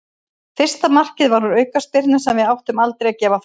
Fyrsta markið var úr aukaspyrnu sem við áttum aldrei að gefa frá okkur.